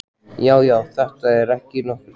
Já, já, það er ekki nokkurt mál.